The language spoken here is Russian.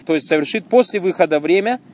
то есть совершить после выхода время